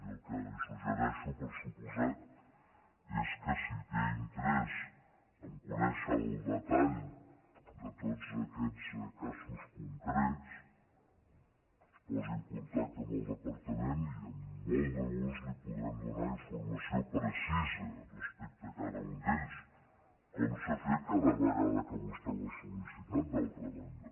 i el que li suggereixo per des comptat és que si té interès a conèixer el detall de tots aquests casos concrets es posi en contacte amb el departament i amb molt de gust li podrem donar informació precisa respecte a cada un d’ells com s’ha fet cada vegada que vostè ho ha sol·licitat d’altra banda